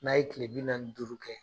N'a ye kile bi naani ni duuru kɛ